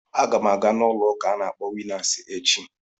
Agam aga n'ulo uka a na akpọ winnas echi.